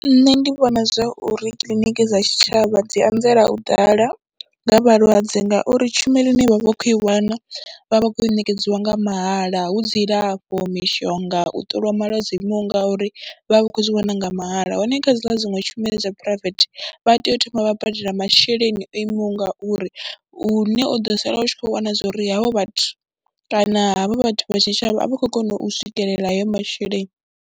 Nṋe ndi vhona zwa uri kiḽiniki dza tshitshavha dzi anzela u ḓala nga vhalwadze ngauri tshumelo ine vha vha vha khou i wana vha vha vha khou i ṋekedziwa nga mahala, hu dzilafho, mishonga, u ṱoliwa malwadze o imaho nga uri vha vha vha khou zwi wana nga mahala hone kha dziḽa dziṅwe tshumelo dza phuraivethe, vha tea u thoma vha badela masheleni o imaho ngauri hune u ḓo sala u tshi khou wana zwo ri havho vhathu kana havha vhathu vha tshitshavha a vha khou kona u swikelela hayo masheleni.